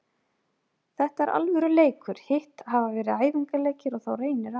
Þetta er alvöru leikur, hitt hafa verið æfingaleikir, og þá reynir á.